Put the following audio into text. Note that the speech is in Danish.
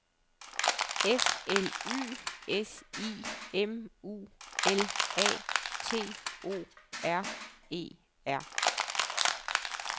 F L Y S I M U L A T O R E R